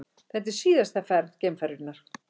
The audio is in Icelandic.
Þetta er síðasta ferð geimferjunnar